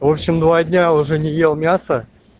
в общем два дня уже не ел мясо